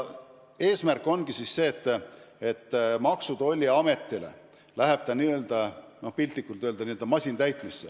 Eesmärk on see, et Maksu- ja Tolliametis lähevad nõuded piltlikult öeldes n-ö masintäitmisse.